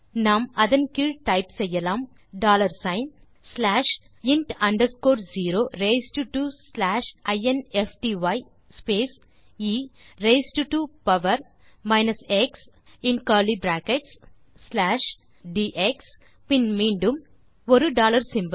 நாம் அதன் கீழ் டைப் செய்யலாம் டாலர் சிக்ன் பின் slash int underscore zero raised to slash infty space a raised to power x in curly brackets பின் slash பின் டிஎக்ஸ் பின் மீண்டும் ஆ டாலர் சிம்போல்